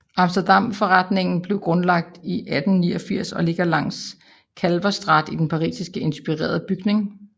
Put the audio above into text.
Amsterdamforretningen blev grundlagt i 1889 og ligger langs Kalverstraat i et parisisk inspireret bygning